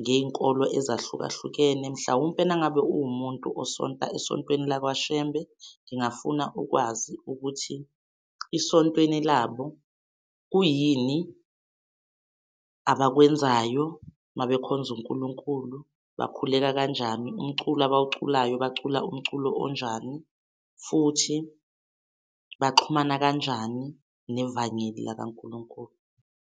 ngey'nkolo ezahlukahlukene mhlawumpe nangabe ungumuntu esonta, esontweni lakwaShembe ngingafuna ukwazi ukuthi esontweni labo kuyini abakwenzayo mabekhonza uNkulunkulu bakhuleka kanjani umculo abawuculayo bacula umculo onjani futhi baxhumana kanjani nevangeli lakaNkulunkulu.